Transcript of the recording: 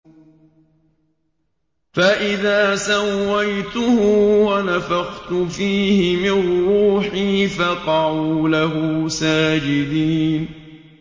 فَإِذَا سَوَّيْتُهُ وَنَفَخْتُ فِيهِ مِن رُّوحِي فَقَعُوا لَهُ سَاجِدِينَ